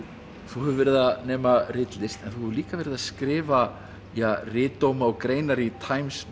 þú hefur verið að nema ritlist en þú hefur líka verið að skrifa ja ritdóma og greinar í Times